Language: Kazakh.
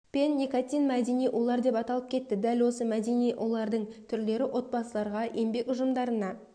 пен никотин мәдени улар деп аталып кетті дәл осы мәдени улардың түрлері отбасыларға еңбек ұжымдарына